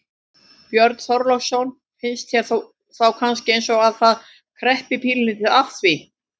Björn Þorláksson: Finnst þér þá kannski eins og að það kreppi pínulítið að því?